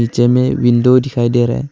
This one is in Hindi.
जे में विंडो दिखाई दे रहा है।